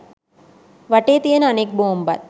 වටේ තියන අනෙක් බෝම්බත්